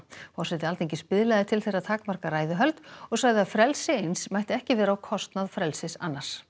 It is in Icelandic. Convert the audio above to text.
forseti Alþingis biðlaði til þeirra að takmarka ræðuhöld og sagði að frelsi eins mætti ekki vera á kostnað frelsis annars